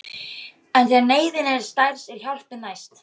En þegar neyðin er stærst er hjálpin næst.